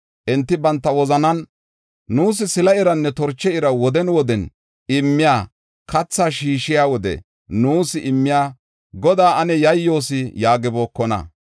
Enti banta wozanan, ‘Nuus sila iranne torche ira woden woden immiya, kathaa shiishiya wode nuus immiya Godaa ane yayyoos’ yaagibookona.